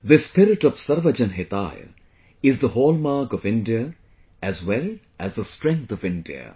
This spirit of Sarvajan Hitaaya is the hallmark of India as well as the strength of India